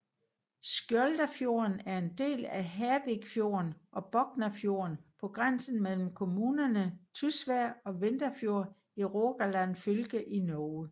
Skjoldafjorden er en del af Hervikfjorden og Boknafjorden på grænsen mellem kommunerne Tysvær og Vindafjord i Rogaland fylke i Norge